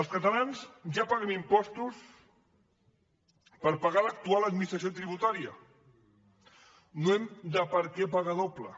els catalans ja paguen impostos per pagar l’actual administració tributària no hem de pagar doble